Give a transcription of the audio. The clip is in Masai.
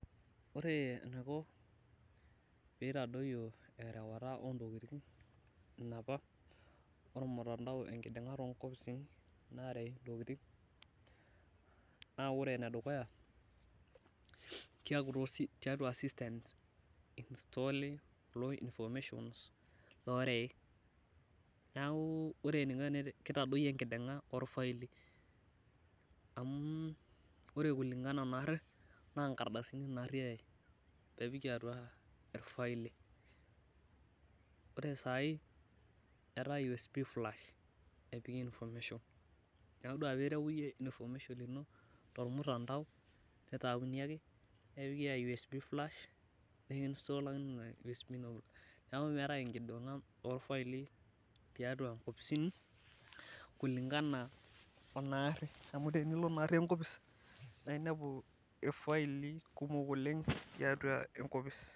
Ore eniko pee eitadoyio erewata ontokiting enapa omutandao enkidingata onkopisini ena narei ntoking ,naa ore ene dukuya keeku systems einstali pee eiflow information. Neeku kitadoyio enkidinga orfaili. Amu ore kulingana naari naa nkardasini naari eyae nepiki atua irfaili. Ore saai etaa USB flash epiki information. Neeku ore pee iereu iyieu information ino tormutandao, nitayuni ake nepiki USB drive nikistalakini USB ino. Neeku meetae enkidinga orfaili tiatua nkopisini, kulingana onaari amu tinilo naari enkopis, naa inepu orfaili kumok tiatua enkopis.